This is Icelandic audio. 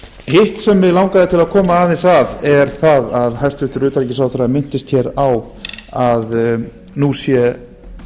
hitt sem mig langaði til að koma aðeins að er það að hæstvirtur utanríkisráðherra minntist hér á að nú